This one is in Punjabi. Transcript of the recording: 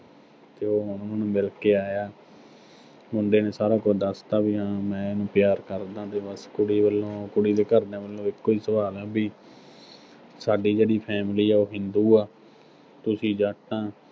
ਤੇ ਉਨ੍ਹਾਂ ਨੂੰ ਬਈ ਮਿਲ ਕੇ ਆਇਆ, ਮੁੰਡੇ ਨੇ ਸਾਰਾ ਕੁਝ ਦੱਸ ਤਾ ਵੀ ਹਾਂ, ਮੈਂ ਇਹਨੂੰ ਪਿਆਰ ਕਰਦਾਂ ਤੇ ਬਸ ਕੁੜੀ ਵੱਲੋਂ, ਕੁੜੀ ਦੇ ਘਰ ਦਿਆਂ ਵੱਲੋਂ ਇਕੋ ਹੀ ਸਵਾਲ ਆ ਵੀ ਸਾਡੀ ਜਿਹੜੀ family ਆ ਉਹ ਹਿੰਦੂ ਆ, ਤੁਸੀਂ ਜੱਟ ਆਂ।